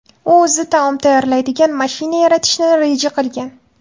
U o‘zi taom tayyorlaydigan mashina yaratishni reja qilgan.